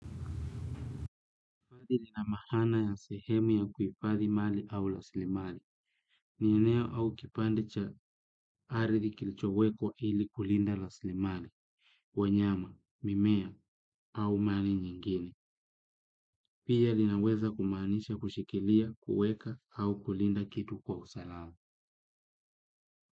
Padi lina maana ya sehemu ya kuhifadhi mali au rasilimali. Ni eneo au kipande cha ardhi kilichowekwa ili kulinda rasilimali. Wanyama, mimea au mali nyingine. Pia linaweza kumaanisha kushikilia, kuweka au kulinda kitu kwa usalama.